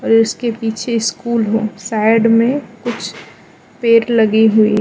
उसके पीछे स्कूल है साइड मे कुछ पेड़ लगे हुए है।